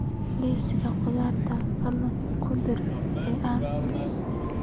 liiska khudaarta fadlan ku dar liin